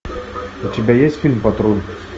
у тебя есть фильм патруль